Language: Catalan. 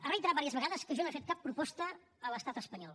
ha reiterat diverses vegades que jo no he fet cap proposta a l’estat espanyol